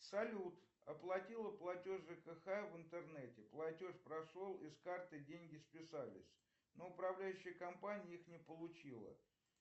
салют оплатила платеж жкх в интернете платеж прошел и с карты деньги списались но управляющая компания их не получила